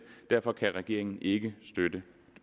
derfor kan regeringen ikke støtte